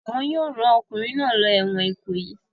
Wọn yóò rán ọkùnrin náà lọ ẹ̀wọ̀n Ìkòyí!